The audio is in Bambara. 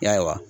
Yala